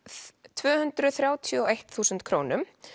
tvö hundruð þrjátíu og eitt þúsund krónum